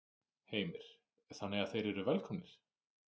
Heimir: Þannig að þeir eru velkomnir?